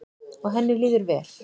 Og henni líður vel.